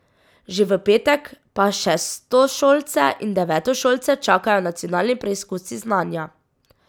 Že v petek pa šestošolce in devetošolce čakajo nacionalni preizkusi znanja.